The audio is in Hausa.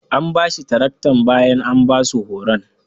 An bashi taraktar bayan an basu horon.